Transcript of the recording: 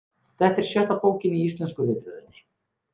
Þetta er sjötta bókin í íslensku ritröðinni.